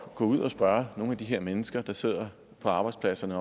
gå ud og spørge nogle af de her mennesker der sidder på arbejdspladserne